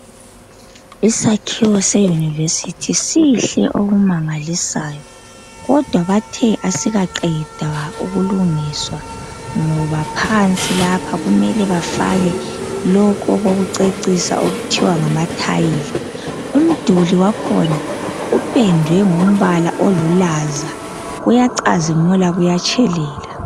Isakhiwo se yunivesithi sihle okumangalisayo kodwa bathe asikaqedwa ukulungiswa ngoba phansi lapha kumele bafake lokho okokucecisa okuthiwa ngama tile umduli wakhona upendwe ngombala olulaza kuyacazimula kuyatshelela.